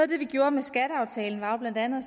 det vi gjorde med skatteaftalen var jo blandt andet